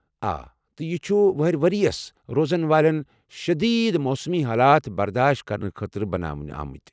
آ، تہٕ یہِ چھُ وہٕرِ ورِییس روزن وٲلٮ۪ن شٔدیٖد موسمی حالات برداش کرنہٕ خٲطرٕ بناونہٕ آمُت۔